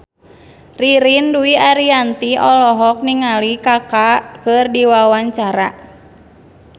Ririn Dwi Ariyanti olohok ningali Kaka keur diwawancara